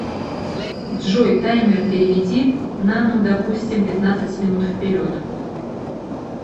джой таймер переведи на ну допустим пятнадцать минут вперед